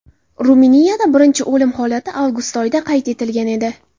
Ruminiyada birinchi o‘lim holati avgust oyida qayd etilgan edi.